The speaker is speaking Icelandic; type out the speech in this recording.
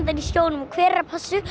í sjónum og hver er að passa upp